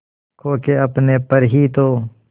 खो के अपने पर ही तो